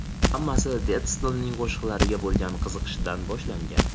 Hammasi Detslning qo‘shiqlariga bo‘lgan qiziqishidan boshlangan.